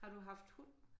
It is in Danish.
Har du haft hund?